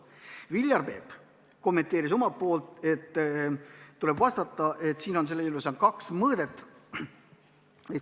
Viljar Peep kommenteeris omalt poolt, et tuleb arvestada, et selle eelnõu puhul on mängus kaks mõõdet.